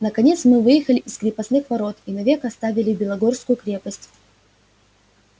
наконец мы выехали из крепостных ворот и навек оставили белогорскую крепость